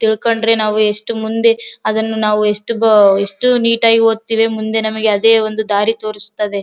ತಿಳಕೊಂಡ್ರೆ ನಾವು ಎಷ್ಟು ಮುಂದೆ ಅದನ್ನ ನಾವು ಎಷ್ಟ ಬ ಎಷ್ಟ ನೀಟ್ ಆಗಿ ಹೋತಿವಿ ಮುಂದೆ ನಮಗೆ ಅದೆ ಒಂದು ದಾರಿ ತೋರಸ್ತದೆ.